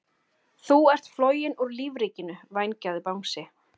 Þú ert floginn úr lífríkinu, vængjaði Bangsi.